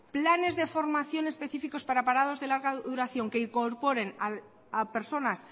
planes de formación específicos para parados de larga duración que incorporen a personas